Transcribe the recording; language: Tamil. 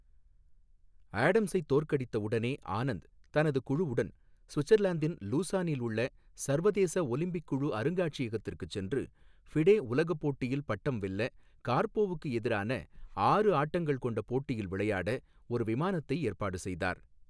ஆடம்ஸைத் தோற்கடித்த உடனே, ஆனந்த் தனது குழுவுடன் சுவிட்சர்லாந்தின் லூசானில் உள்ள சர்வதேச ஒலிம்பிக் குழு அருங்காட்சியகத்திற்குச் சென்று ஃபிடே உலகப் போட்டியில் பட்டம் வெல்ல கார்போவுக்கு எதிரான ஆறு ஆட்டங்கள் கொண்ட போட்டியில் விளையாட ஒரு விமானத்தை ஏற்பாடு செய்தார்.